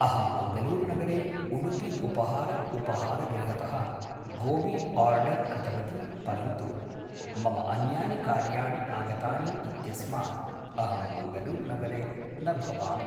अहं मङ्गलूरुनगरे उडुपि उपहार उपहारगृहतः गोबि ओर्डर् कृतवती परन्तु मम अन्यानि कार्याणि आगतानि इत्यस्मात् अहं मङ्गलूरुनगरे न भवामि